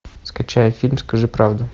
скачай фильм скажи правду